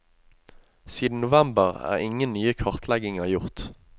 Siden november er ingen nye kartlegginger gjort.